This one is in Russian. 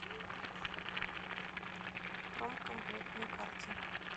промкомплект на карте